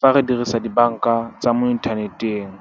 fa re dirisa dibanka tsa mo inthaneteng.